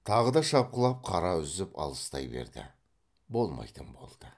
тағы да шапқылап қара үзіп алыстай берді болмайтын болды